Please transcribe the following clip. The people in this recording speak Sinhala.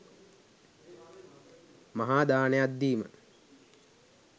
මහාදානයක් දීම